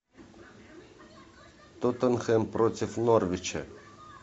тоттенхэм против норвича